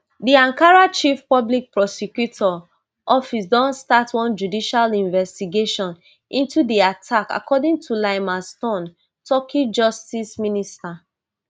di ankara chief public prosecutor office don start one judicial investigation into di attack according to ylmaz tun turkey justice minister